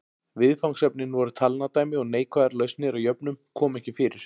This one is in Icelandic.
Viðfangsefnin voru talnadæmi og neikvæðar lausnir á jöfnum komu ekki fyrir.